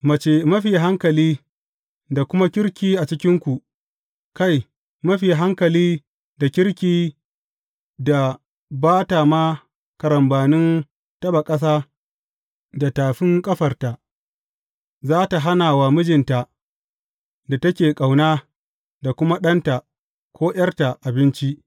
Mace mafi hankali da kuma kirki a cikinku, kai, mafi hankali da kirki da ba ta ma karambanin taɓa ƙasa da tafin ƙafarta, za tă hana wa mijinta da take ƙauna, da kuma ɗanta, ko ’yarta abinci.